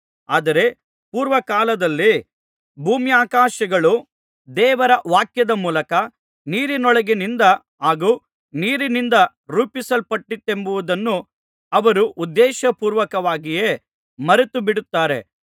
ಆದರೆ ಪೂರ್ವಕಾಲದಲ್ಲಿ ಭೂಮ್ಯಾಕಾಶಗಳು ದೇವರ ವಾಕ್ಯದ ಮೂಲಕ ನೀರಿನೊಳಗಿನಿಂದ ಹಾಗೂ ನೀರಿನಿಂದ ರೂಪಿಸಲ್ಪಟ್ಟಿತೆಂಬುದನ್ನು ಅವರು ಉದ್ದೇಶರ್ಪೂವಕವಾಗಿಯೇ ಮರೆತುಬಿಡುತ್ತಾರೆ